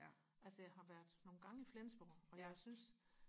ja altså jeg har været nogle gange i Flensborg og jeg synes